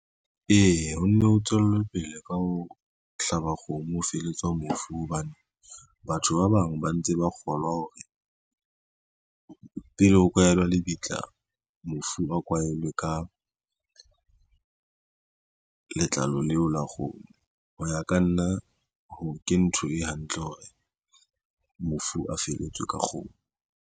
Eya ho nne ho tswele pele ka ho hlaba kgomo ho feletswa mofu, hobane batho ba bang ba ntse ba kgolwa hore pele ho kwaela lebitla mofu a kwahelwe ka letlalo leo la kgomo. Ho ya ka nna ha ke ntho e hantle hore mofu a feletswe ka kgomo.